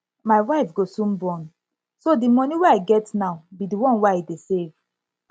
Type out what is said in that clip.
my wife go soon born so the money wey i get now be the one wey i dey save